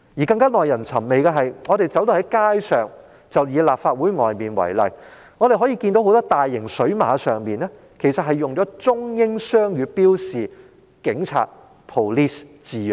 更加耐人尋味的是，以立法會外圍為例，在路上所見的很多大型水馬，上面均以中英雙語標示了"警察 Police" 的字樣。